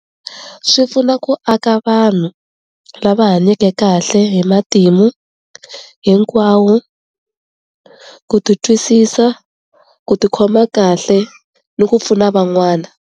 Swi pfuna ku aka vanhu lava hanyeke kahle hi matimu hinkwawo ku ti twisisa, ku tikhoma kahle ni ku pfuna van'wana.